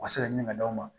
U ka se ka ɲini ka d'aw ma